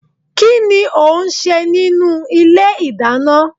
Kí ni ò ń ṣe nínú ilé ìdáná?